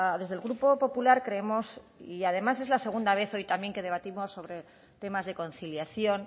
desde el grupo popular creemos y además es la segunda vez hoy también que debatimos sobre temas de conciliación